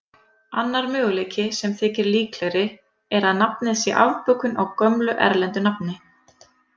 Annar möguleiki, sem þykir líklegri, er að nafnið sé afbökun á gömlu erlendu nafni.